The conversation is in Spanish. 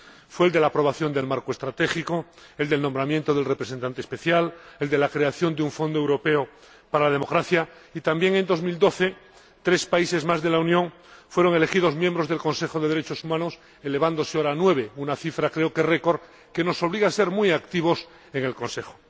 Fue el de la aprobación del marco estratégico, el del nombramiento del Representante Especial, el de la creación de un fondo europeo para la democracia y, también, en 2012, tres países más de la Unión fueron elegidos miembros del Consejo de Derechos Humanos, elevándose su número ahora a nueve, una cifra que creo que es un récord y que nos obliga a ser muy activos en el Consejo.